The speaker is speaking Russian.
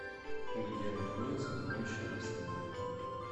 где находится моющий раствор